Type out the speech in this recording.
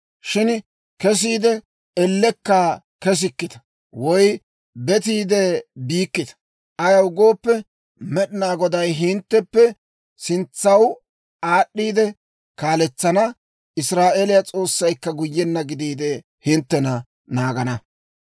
Shin kesiide, ellekka kessikkita; woy betiide biikkita; ayaw gooppe, Med'inaa Goday hintteppe sintsaw aad'd'iide kaaletsana; Israa'eeliyaa S'oossaykka guyyenna gidiide, hinttena naagana.